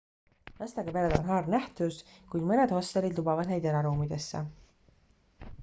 lastega pered on harv nähtus kuid mõned hostelid lubavad neid eraruumidesse